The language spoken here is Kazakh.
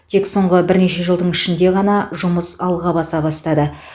тек соңғы бірнеше жылдың ішінде ғана жұмыс алға баса бастады